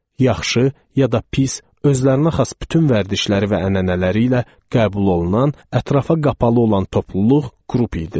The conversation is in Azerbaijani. Yaxşı, ya da pis, özlərinə xas bütün vərdişləri və ənənələri ilə qəbul olunan, ətrafa qapalı olan topluluq qrup idilər.